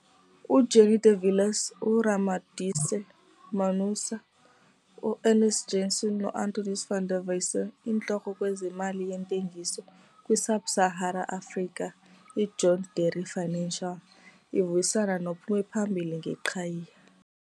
UJannie de Villiers, uRamodisa Monaisa, uErnst Janovsky noAntois van der Westhuizen, Intloko - kwezeMali yeeNtengiso - kwiSub Sahara Africa, iJohn Deere Financial, ivuyisana nophume phambili ngeqhayiya.